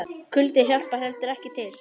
Kuldinn hjálpar heldur ekki til.